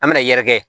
An bɛna yɛrɛkɛ